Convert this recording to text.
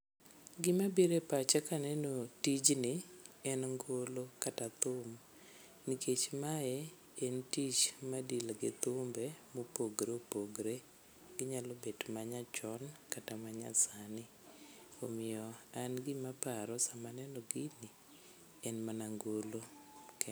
Gima biro e pacha kaneno tijni en ngolo kata thum, nikech mae en tich ma deal gi thumbe mopogre opogre. Onyalo bet manyachon kata ma nyasani. Omiyo an gimaparo sama aneno gini, en mana ngolo ke.